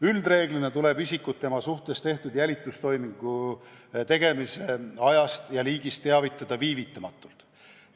Üldreeglina tuleb isikut tema suhtes tehtud jälitustoimingu tegemise ajast ja liigist teavitada viivitamatult.